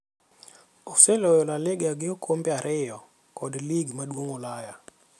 Oseloyo La Liga gi okombe ariyo kod lig maduong' Ulaya.